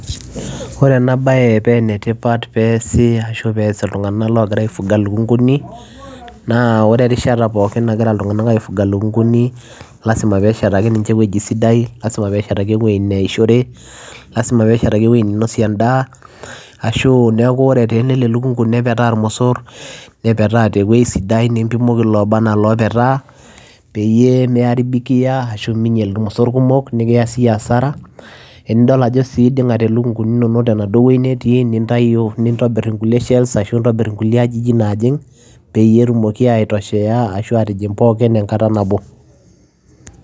Ore ena baye pee ene tipat peesi ashu pees iltung'anak loogira aifuga ilukung'uni naa ore erishata pookin nagira iltung'anak aifuga ilukung'uni lazima peeshetaki ninche ewueji sidai lazima peeshetaki ewuei neishore, lazima peeshetaki ewuei ninosie endaa ashuu neeku ore etaa elel elukung'u nepetaa irmosor, nepetaa te wuei sidai, nimpimoki looba naa loopetaa peyie miaribikia ashu miinyal irmosor kumok nekiya siyie hasara. Enidol ajo sii iding'ate ilukung'uni inonok tenaduo wuei netii nintayu nintobir inkulie shelves ashu nintobir inkulie ajijik naajing' peyie etumoki aitoshea ashu aatijing' pookin enkata nabo.